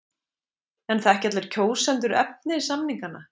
En þekkja allir kjósendur efni samninganna?